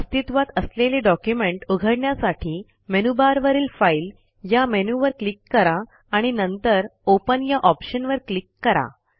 अस्तित्वात असलेले डॉक्युमेंट उघडण्यासाठी मेनूबारवरील फाइल या मेनूवर क्लिक करा आणि नंतर ओपन या ऑप्शनवर क्लिक करा